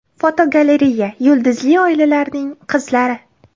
Fotogalereya: Yulduzli oilalarning qizlari.